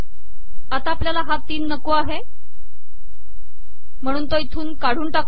आता आपलयाला हा तीन नको आहे महणून तो इथून काढून टाकू